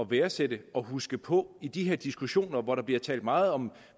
værdsætte og huske på i de her diskussioner hvor der bliver talt meget om